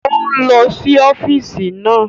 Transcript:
Ó ń lọ sí ọ́físì náà